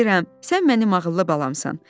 Bilirəm, sən mənim ağıllı balamsan.